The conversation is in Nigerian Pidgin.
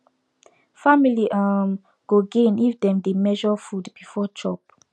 family um go gain if dem dey measure food before chop